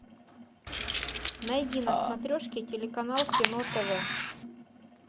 найди на смотрешке телеканал кино тв